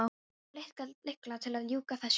Vantar lykla til að ljúka þessu upp.